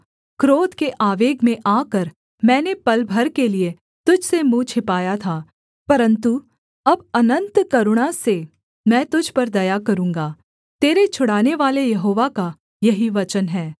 क्रोध के आवेग में आकर मैंने पल भर के लिये तुझ से मुँह छिपाया था परन्तु अब अनन्त करुणा से मैं तुझ पर दया करूँगा तेरे छुड़ानेवाले यहोवा का यही वचन है